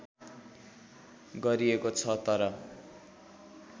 गरिएको छ तर